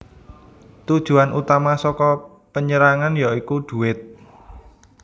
Tujuan utama saka penyerangan ya iku duwit